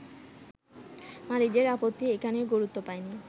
মালিকদের আপত্তি এখানে গুরুত্ব পায়নি।